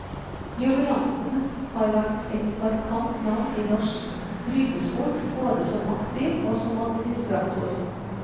Jubilanten har vært et markant navn i norsk brytesport, både som aktiv og som administrator.